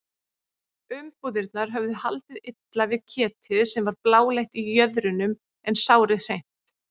Umbúðirnar höfðu haldið illa við ketið sem var bláleitt í jöðrunum en sárið hreint.